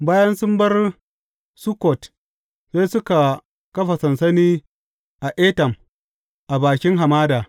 Bayan sun bar Sukkot sai suka kafa sansani a Etam a bakin hamada.